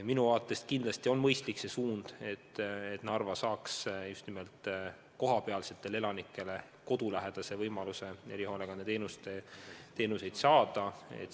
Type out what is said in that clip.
Minu arvates on mõistlik see suund, et Narva saaks just nimelt kohalikele elanikele kodulähedase võimaluse erihoolekande teenuseid saada.